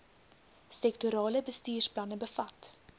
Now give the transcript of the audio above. sektorale bestuursplanne bevat